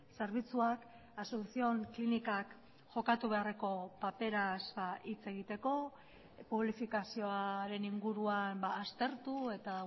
zerbitzuak asunción klinikak jokatu beharreko paperaz hitz egiteko publifikazioaren inguruan aztertu eta